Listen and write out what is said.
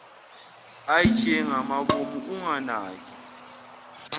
ij ngamabomu unganaki